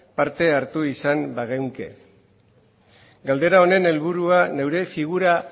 parte hartu izan bagenuke galdera honen helburua neure figura